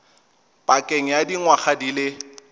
pakeng ya dingwaga di le